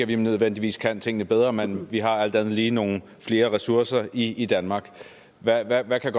vi nødvendigvis kan tingene bedre men vi har alt andet lige nogle flere ressourcer i i danmark hvad hvad kan